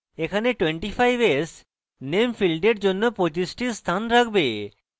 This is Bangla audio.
এখানে 25s name ফীল্ডের জন্য 25s টি স্থান রাখবে